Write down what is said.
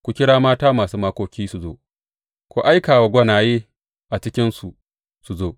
Ku kira mata masu makoki su zo ku aika wa gwanaye a cikinsu su zo.